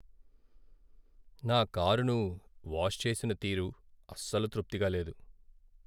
నా కారును వాష్ చేసిన తీరు అస్సలు తృప్తిగా లేదు.